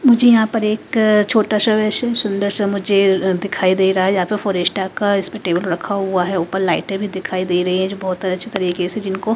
मुझे यहां पर एक छोटा सा वैसे सुंदर सा मुझे दिखाई दे रहा है यहां पर फोरेस्टा का इसमें टेबल रखा हुआ है ऊपर लाइटें भी दिखाई दे रही है जो बहुत अच्छे तरीके से जिनको--